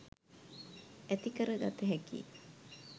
ඇතිකර ගත හැකි යි.